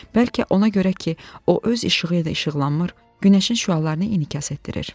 Bəlkə ona görə ki, o öz işığı ilə də işıqlanmır, günəşin şüalarını inikas etdirir.